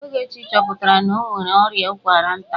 Ogechi chọpụtara na o nwere ọrịa ụkwara nta.